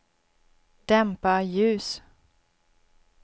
dämpa ljus